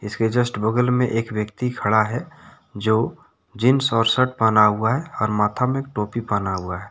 इसके जस्ट बगल में एक व्यक्ति खड़ा है जो जींस और शर्ट पहना हुआ है और माथा में टोपी पहना हुआ है।